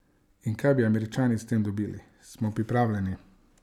In kaj bi Američani s tem dobili?